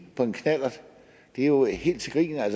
på knallert det er jo helt til grin